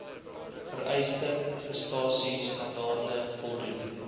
vereiste prestasiestandaarde voldoen